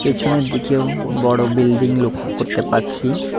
পেছনের দিকেও বড়ো বিল্ডিং লক্ষ করতে পারছি।